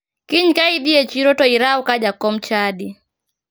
Kiny ka idhi e chiro to iraw ka jakom chadi.